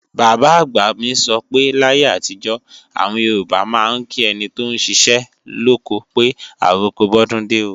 Bàbá-àgbà mi sọ pé láyé àtijọ́, àwọn Yorùbá máa ń kí ẹni tóún ṣiṣẹ́ lóko pé "àroko bọ́dúndé o"